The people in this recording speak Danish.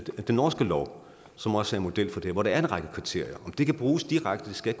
norske lov som også er model for det og hvor der er en række kriterier om det kan bruges direkte skal